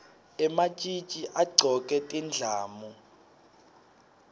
ematjitji agcoke tindlamu